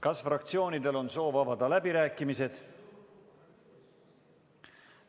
Kas fraktsioonidel on soov avada läbirääkimised?